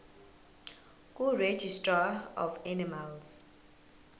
kuregistrar of animals